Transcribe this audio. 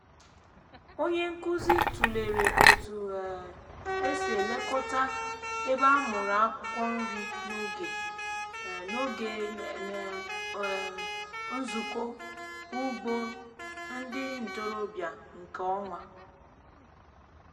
onye nkuzi tụlere otu um esi elekọta ebe amụrụ akwụkwọ nri n’oge um n’oge um nzukọ ugbo ndị ntorobịa nke ọnwa.